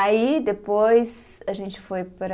Aí, depois, a gente foi para